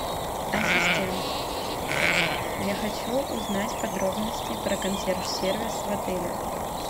ассистент я хочу узнать подробности про консьерж сервис в отеле